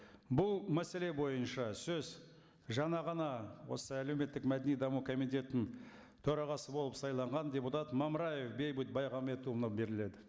бұл мәселе бойынша сөз жаңа ғана осы әлеуметтік мәдени даму комитетінің төрағасы болып сайланған депутат мамыраев бейбіт беріледі